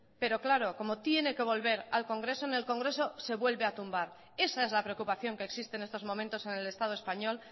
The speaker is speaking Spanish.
pero claro como tiene que volver al congreso en el congreso se vuelve a tumbar esa es la preocupación que existe en estos momentos en el estado español